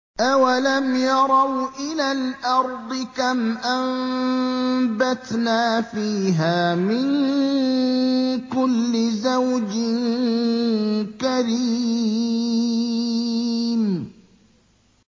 أَوَلَمْ يَرَوْا إِلَى الْأَرْضِ كَمْ أَنبَتْنَا فِيهَا مِن كُلِّ زَوْجٍ كَرِيمٍ